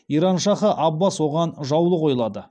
иран шахы аббас оған жаулы ойлады